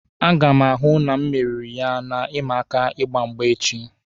A ga m ahụ na emeriri m ya na ịma aka ịgba mgba echi.